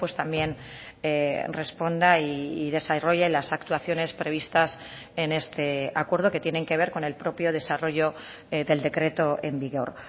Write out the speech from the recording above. también responda y desarrolle las actuaciones previstas en este acuerdo que tienen que ver con el propio desarrollo del decreto en vigor